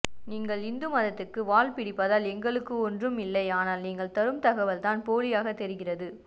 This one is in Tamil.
நீங்கள் இந்து மதத்துக்கு வால் பிடிப்பதால் எங்களுக்கு ஒன்றும் இல்லை ஆனால் நீங்கள் தரும்தகவல் தான் போலியாகதெரிகிறது